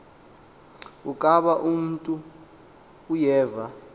ukaba umntu uyeva